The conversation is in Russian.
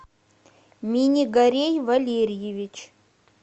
минигарей валерьевич